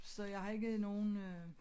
Så jeg har ikke nogen øh